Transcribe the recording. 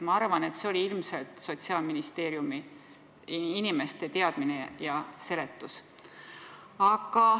Ma arvan, et see oli ilmselt Sotsiaalministeeriumi inimeste teadmine ja seletus.